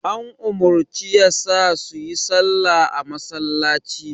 An umarci yasa suyi salla a masallaci.